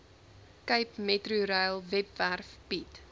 capemetrorail webwerf bied